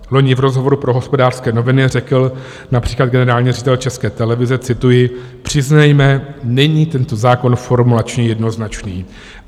Loni v rozhovoru pro Hospodářské noviny řekl například generální ředitel České televize - cituji: "Přiznejme, není tento zákon formulačně jednoznačný."